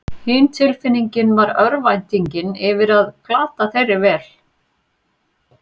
Hin tilfinningin var örvæntingin yfir að glata þeirri vel